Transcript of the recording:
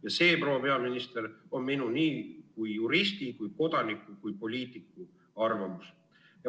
Ja see, proua peaminister, on minu kui juristi, kui kodaniku ja ka poliitiku arvamus.